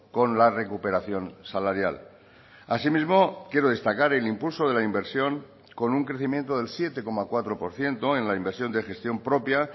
con la recuperación salarial asimismo quiero destacar el impulso de la inversión con un crecimiento del siete coma cuatro por ciento en la inversión de gestión propia